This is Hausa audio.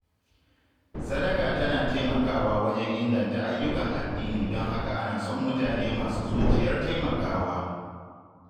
Sadaka tana taimakawa wajen inganta ayyukan addini don haka ana son mutane masu zuciyar taimakawa.